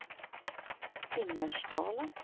Timmersdala